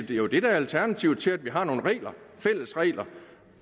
det er jo det der er alternativet til at vi har nogle fælles regler